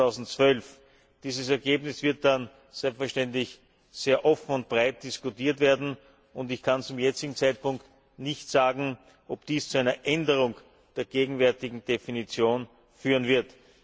2012. Dieses Ergebnis wird dann selbstverständlich sehr offen und breit diskutiert werden, und ich kann zum jetzigen Zeitpunkt nicht sagen, ob dies zu einer Änderung der gegenwärtigen Definition führen wird.